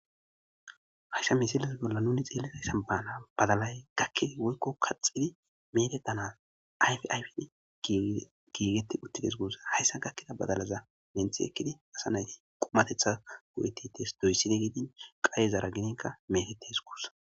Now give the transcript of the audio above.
haysa misilaza bolla nuni xeelezaysan baana badalay gakke woykko kaxidi meede tana ayfayfin giigeti uttides guusa hayssa gakkida badalaza nenth ekkidi asa nayti qumatetha go7etitees doysside geedin qayezara gidinka metetes guusa